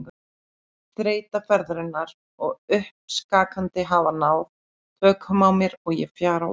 Þreyta ferðarinnar og uppskakandi hafa náð tökum á mér og ég fjara út.